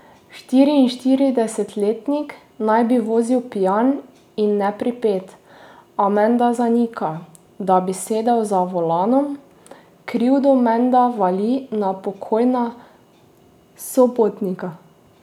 Štiriinštiridesetletnik naj bi vozil pijan in nepripet, a menda zanika, da bi sedel za volanom, krivdo menda vali na pokojna sopotnika.